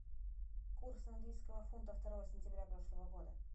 курс английского фунта второго сентября прошлого года